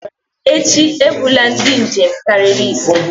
echi, ebula ndị njem karịrị ise!